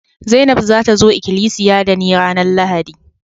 Zainab za ta zo ikilisiya da ni ranan Lahadi.